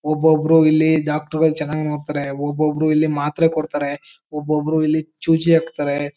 ಒಬೊಬ್ಬರು ಇಲ್ಲಿ ಡಾಕ್ಟರ್ ಗಳು ಚನ್ನಾಗ್ ನೋಡ್ತಾರೆ. ಒಬೊಬ್ಬರು ಇಲ್ಲಿ ಮಾತ್ರೆ ಕೊಡ್ತಾರೆ ಒಬೊಬ್ಬರು ಇಲ್ಲಿ ಚೂಜಿ ಹಾಕ್ತಾರೆ.